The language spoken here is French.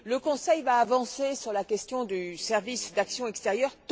Le Conseil va avancer sur la question du service d'action extérieure.